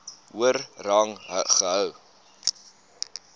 hoër rang gehou